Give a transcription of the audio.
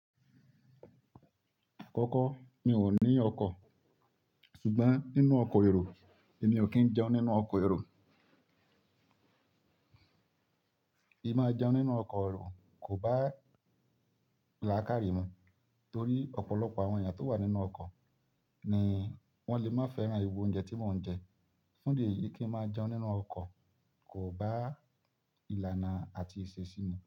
Kọ́kọ́ mi ò ní ọkọ̀, ṣùgbọ́n nínú ọkọ̀ èrò, èmi ò kí ń jẹun nínú ọkọ̀ èrò. Ìmáa jẹun nínú ọkọ̀ èrò kò bá ìlàkàrí mu torí ọ̀pọ̀lọpọ̀ àwọn èèyàn tó wà nínú ọkọ̀ ni wọ́n lè má fẹ́ràn irú oúńjẹ tí mò ń jẹ. Fún ìdí èyí, kí n máa jẹun nínú ọkọ̀ kò bá ìlànà àti ìṣe sí mi.